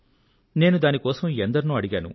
నేను దాని కోసం ఎందరినో అడిగాను